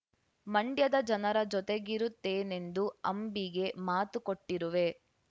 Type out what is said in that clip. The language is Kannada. ಮಂಡ್ಯದ ಜನರ ಜೊತೆಗಿರುತ್ತೇನೆಂದು ಅಂಬಿಗೆ ಮಾತು ಕೊಟ್ಟಿರುವೆ